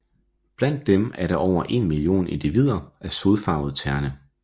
Blandt dem er der over én million individer af Sodfarvet terne